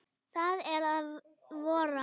Það er að vora!